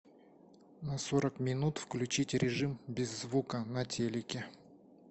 на сорок минут включить режим без звука на телике